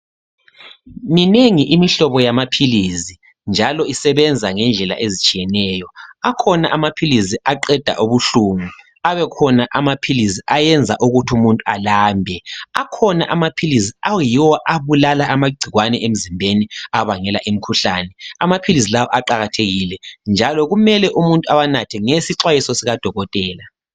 Minengi imihlobo yamaphilizi njalo isebenza ngendlela ezitshiyeneyo. Akhona amaphilizi aqeda ubuhlungu, abekhona amaphilizi ayenza ukuthi umuntu alambe, akhona ayiwo amaphilizi abulala amagcikwane emzimbeni njalo umuntu kumele awanathe ngesixwayiso zikaDokotela.